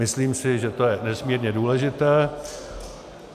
Myslím si, že to je nesmírně důležité.